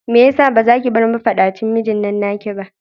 Mai yasa bazaki bar mafaɗacin mijinnan naki ba?